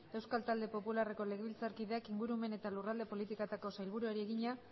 euskal talde popularreko legebiltzarkideak ingurumen eta lurralde politikako sailburuari egina